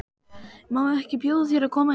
Má ekki bjóða þér að koma inn fyrir?